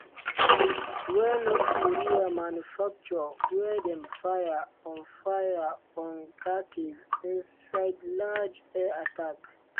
wey north korea manufacture wey dem fire on fire on kharkiv inside large air attack.